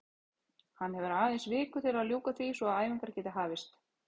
Hann hefur aðeins viku til að ljúka því svo að æfingar geti hafist.